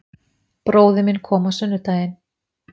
Bróðir minn kom á sunnudaginn